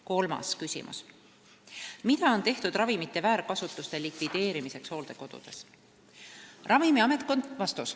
Kolmas küsimus: "Mida on tehtud ravimite väärkasutuse likvideerimiseks hooldekodudes?